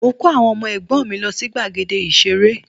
Mo kó àwọn ọmọ ẹ̀gbọ́n mì lọ sí gbàgede ìṣeré